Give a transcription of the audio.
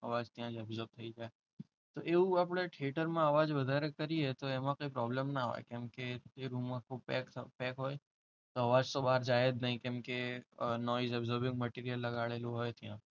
અવાજ ત્યાં absorb થઈ જાય. તો એવું આપણે થિયેટરમાં આવા જ વધારે કરીએ તો એમાં કંઈ પ્રોબ્લેમ ના હોય કેમકે એ રૂમ આખો પેક હોય. તો આ વાત તો બહાર જાય જ નહીં કેમકે absorbing material લગાવેલું હોય ત્યાં.